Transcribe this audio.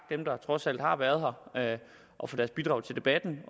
dem der trods alt har været her og for deres bidrag til debatten